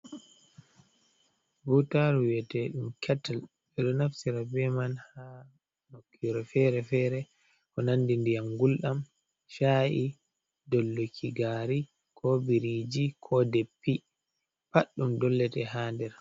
Ɓutaru wiyete dum kettil bedo nafsira be man ha nokyure fere-fere ko nandi ndiyam guldam sha’i dolluki gari ko biriji ko deppi pat ɗum dollete ha ɗer.